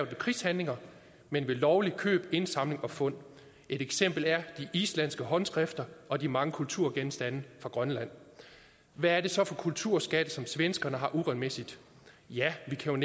ved krigshandlinger men ved lovligt køb indsamling og fund et eksempel er de islandske håndskrifter og de mange kulturgenstande fra grønland hvad er det så for kulturskatte som svenskerne har uretmæssigt ja vi kan